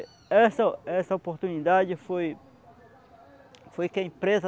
E essa, essa oportunidade foi que a empresa